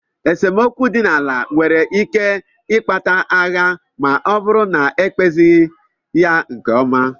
Esemokwu dị n'ala nwere ike ikpata agha ma ọ bụrụ na ekpezighi ya nke ọma.